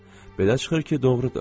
Belə çıxır ki, doğrudur.